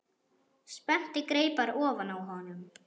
Spennti greipar ofan á honum.